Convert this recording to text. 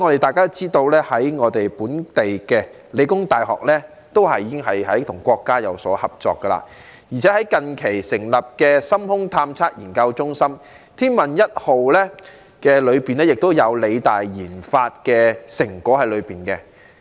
大家也知道香港理工大學已與國家有所合作，而且近期更成立深空探測研究中心，天問一號也有理大研發的成果在內。